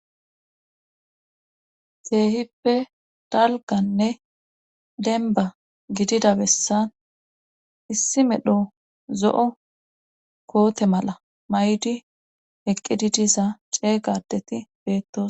Keehippe talganne denba gidida bessan issi medho zo7o koote mala may7di eqqidi diza ceeygadeti beettos.